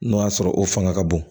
N'o y'a sɔrɔ o fanga ka bon